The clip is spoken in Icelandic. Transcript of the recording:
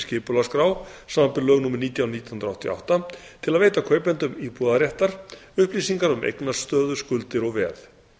skipulagsskrá samanber lög númer nítján nítján hundruð áttatíu og átta til að veita kaupendum íbúðarréttar upplýsingar um eignastöðu skuldir og veð